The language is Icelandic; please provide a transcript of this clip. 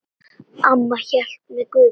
Amma hélt með Guði.